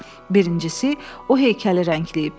Birincisi, o heykəli rəngləyib.